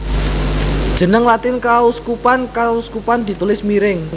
Jeneng Latin kauskupan kauskupan ditulis miring